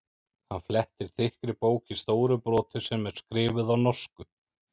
Hann flettir þykkri bók í stóru broti sem er skrifuð á norsku.